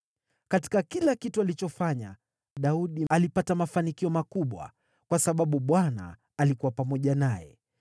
Katika kila kitu alichofanya, Daudi alipata mafanikio makubwa, kwa sababu Bwana alikuwa pamoja naye.